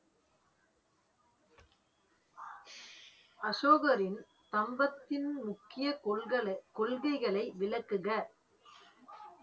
அசோகரின் கம்பத்தின் முக்கிய கொள்களை~ கொள்கைகளை விளக்குக